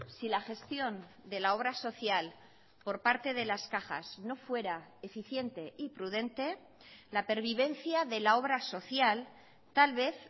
si la gestión de la obra social por parte de las cajas no fuera eficiente y prudente la pervivencia de la obra social tal vez